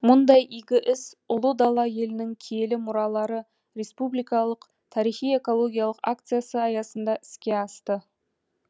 мұндай игі іс ұлы дала елінің киелі мұралары республикалық тарихи экологиялық акциясы аясында іске асты